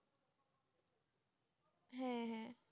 হ্যাঁ হ্যাঁ